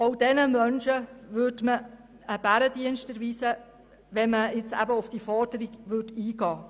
Auch diesen Menschen würde man einen Bärendienst erweisen, wenn man auf diese Forderung einginge.